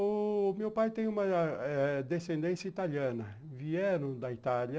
O meu pai tem uma eh descendência italiana, vieram da Itália.